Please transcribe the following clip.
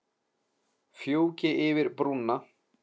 Fjúki yfir brúna.